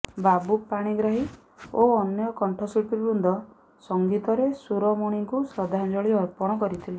ବାବୁ ପାଣିଗ୍ରାହୀ ଓ ଅନ୍ୟ କଣ୍ଠଶିଳ୍ପୀବୃନ୍ଦ ସଙ୍ଗୀତରେ ସୁରୋମଣିଙ୍କୁ ଶ୍ରଦ୍ଧାଞ୍ଜଳି ଅର୍ପଣ କରିଥିଲେ